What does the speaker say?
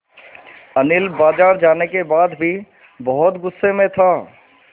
अनिल बाज़ार जाने के बाद भी बहुत गु़स्से में था